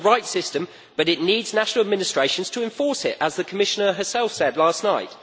It is the right system, but it needs national administrations to enforce it, as the Commissioner herself said last night.